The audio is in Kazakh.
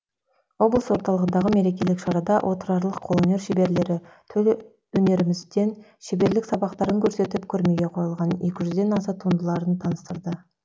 облыс орталығындағы мерекелік шарада отырарлық қолөнер шеберлері төл өнерімізден шеберлік сабақтарын көрсетіп көрмеге қойылған екі жүзден аса туындыларын таныстырды